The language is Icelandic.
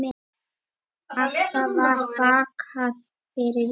Alltaf var bakað fyrir jólin.